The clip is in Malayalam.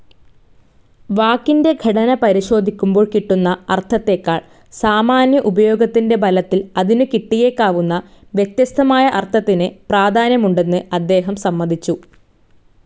വാക്കിന്റെ ഘടന പരിശോധിക്കുമ്പോൾ കിട്ടുന്ന അർത്ഥത്തേക്കാൾ, സാമാന്യ ഉപയോഗത്തിന്റെ ബലത്തിൽ അതിനു കിട്ടിയേക്കാവുന്ന വ്യത്യസ്തമായ അർത്ഥത്തിന്‌ പ്രാധാന്യമുണ്ടെന്ന് അദ്ദേഹം സമ്മതിച്ചു.